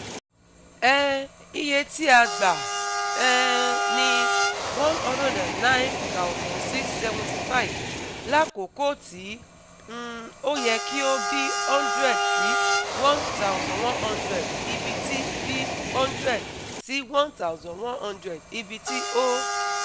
um Iye ti a gba um ni one hundred nine thousand six hundred seventy five lakoko ti um o yẹ ki o b one hundred - one thousand one hundred ibiti b one hundred - one thousand one hundred ibiti o